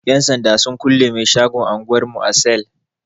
Yan sanda sun kulle mai shagon anguwar mu a sel.